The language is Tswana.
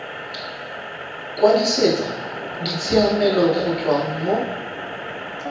kwadisetsa ditshiamelo go tswa mo